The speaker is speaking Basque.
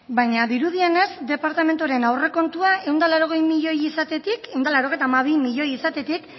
baina dirudienez departamentuaren aurrekontuan ehun eta laurogei milioi izatetik ehun eta laurogeita hamabi milioi izatetik